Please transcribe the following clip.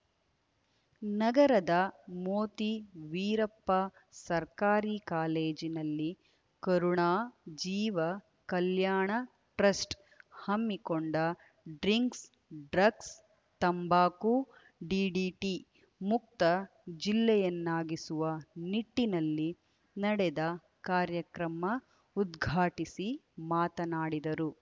ನಗರದ ಮೋತಿ ವೀರಪ್ಪ ಸರ್ಕಾರಿ ಕಾಲೇಜಿನಲ್ಲಿ ಕರುಣಾ ಜೀವ ಕಲ್ಯಾಣ ಟ್ರಸ್ಟ್‌ ಹಮ್ಮಿಕೊಂಡ ಡ್ರಿಂಕ್ಸ್‌ ಡ್ರಗ್ಸ್‌ ತಂಬಾಕುಡಿಡಿಟಿಮುಕ್ತ ಜಿಲ್ಲೆಯನ್ನಾಗಿಸುವ ನಿಟ್ಟಿನಲ್ಲಿ ನಡೆದ ಕಾರ್ಯಕ್ರಮ ಉದ್ಘಾಟಿಸಿ ಮಾತನಾಡಿದರು